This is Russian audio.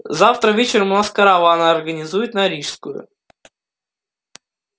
завтра вечером у нас караван организуют на рижскую